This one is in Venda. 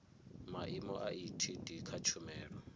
maimo a etd kha tshumelo